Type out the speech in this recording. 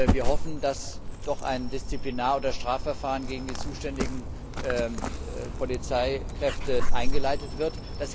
Wir hoffen, dass doch ein Disziplinar oder Strafverfahren gegen die zuständigen Polizeikräfte eingeleitet wird.